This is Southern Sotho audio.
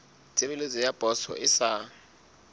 tshebeletso ya poso e sa